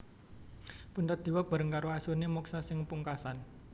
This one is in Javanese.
Puntadewa bareng karo asune moksa sing pungkasan